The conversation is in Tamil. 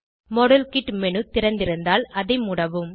மாடல் கிட் மேனு திறந்திருந்தால் அதை மூடவும்